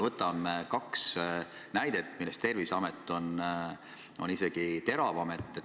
Võtame kaks näidet, millest Terviseameti oma on isegi teravam küsimus.